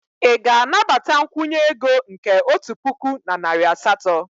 Ị ga-anabata nkwụnye ego nke otu puku na narị asatọ?